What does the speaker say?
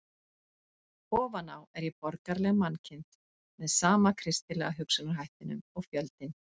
Ofan á er ég borgaraleg mannkind, með sama kristilega hugsunarhættinum og fjöldinn.